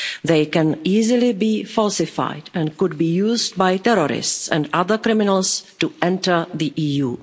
They can easily be falsified and could be used by terrorists and other criminals to enter the EU.